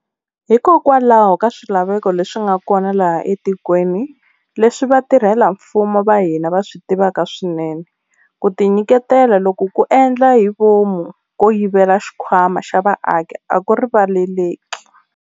Hikokwalaho ka swilaveko leswi nga kona laha etikweni, leswi vatirhela mfumo va hina va swi tivaka swinene, ku tinyiketela loku ko endla hi vomu ko yivela xikhwama xa vaaki a ku rivaleleki.